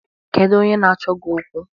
Kedu onye na-achọ gị okwu?